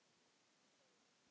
Enginn segir neitt.